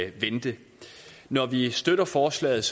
vente når vi støtter forslaget